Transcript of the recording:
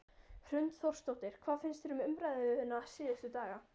Hrund Þórsdóttir: Hvað finnst þér um umræðuna síðustu daga?